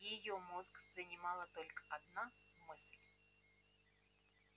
её мозг занимала только одна мысль